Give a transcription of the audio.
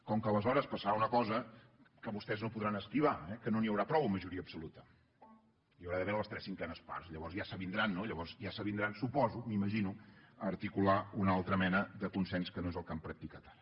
com que aleshores passarà una cosa que vostès no podran esquivar que no n’hi haurà prou amb majoria absoluta hi haurà d’haver les tres cinquenes parts llavors ja s’avindran no llavors ja s’avindran ho suposo m’ho imagino a articular una altra mena de consens que no és el que han practicat ara